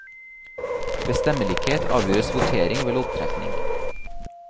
Ved stemmelikhet avgjøres votering ved loddtrekning.